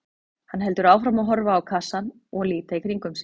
Hann heldur áfram að horfa á kassann og líta í kringum sig.